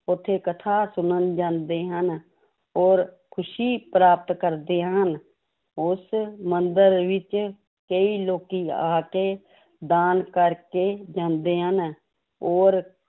ਉੱਥੇ ਕਥਾ ਸੁਣਨ ਜਾਂਦੇ ਹਨ, ਔਰ ਖ਼ੁਸ਼ੀ ਪ੍ਰਾਪਤ ਕਰਦੇ ਹਨ, ਉਸ ਮੰਦਿਰ ਵਿੱਚ ਕਈ ਲੋਕੀ ਆ ਕੇ ਦਾਨ ਕਰਕੇ ਜਾਂਦੇ ਹਨ, ਔਰ